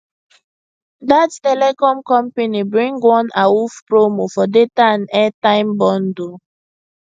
that telecom company bring one awoof promo for data and airtime bundle